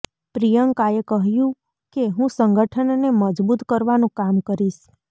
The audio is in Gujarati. પ્રિયંકા એ કહ્યું કે હું સંગઠનને મજબૂત કરવાનું કામ કરીશ